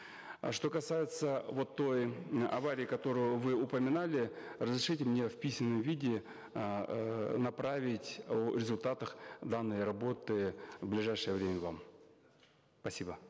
э что касается вот той э аварии которую вы упоминали разрешите мне в письменном виде эээ направить о результатах данной работы в ближайшее время вам спасибо